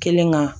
Kelen ka